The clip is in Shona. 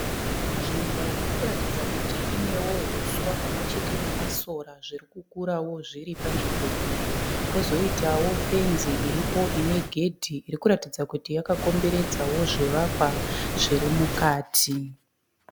Nzvimbo irikuratidza kuti Inewo huswa pamwechete nemasora zvirikukurawo zviri panzvimbo iyi. Kozoitawo fenzi iripo ine gedhi irikuratidza kuti yakakomberedzawo zvivakwa zvirimukati.